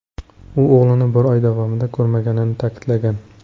U o‘g‘lini bir oy davomida ko‘rmaganini ta’kidlagan.